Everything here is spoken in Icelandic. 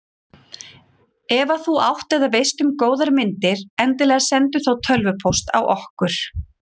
Ef að þú átt eða veist um góðar myndir endilega sendu þá tölvupóst á okkur.